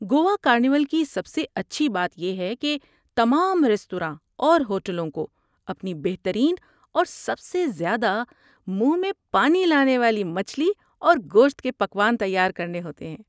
Goa carnival کی سب سے اچھی بات یہ ہے کہ تمام ریستوراں اور ہوٹلوں کو اپنی بہترین اور سب سے زیادہ منہ میں پانی لانے والے مچھلی اور گوشت کے پکوان تیار کرنے ہوتے ہیں۔